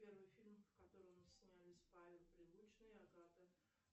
первый фильм в котором снялись павел прилучный агата